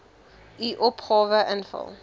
u opgawe invul